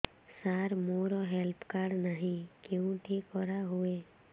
ସାର ମୋର health card ନାହିଁ କେଉଁଠି କରା ହୁଏ